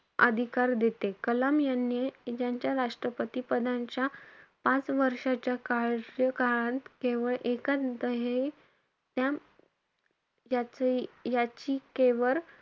अधिकार देते. कलाम यांनी यांच्या राष्ट्रपती पदाच्या पाच कार्यकाळात केवळ एकचं दहे त्या याची~ याचिकेवर,